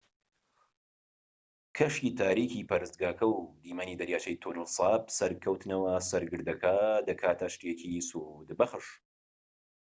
کەشی تاریکی پەرستگاکە و دیمەنی دەریاچەی تۆنل ساپ سەرکەوتنەوە سەر گردەکە دەکاتە شتێکی سوودبەخش